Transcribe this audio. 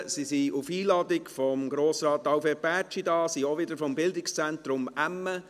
Sie ist auf Einladung von Grossrat Alfred Bärtschi hier und sie ist auch wieder vom Bildungszentrum Emme.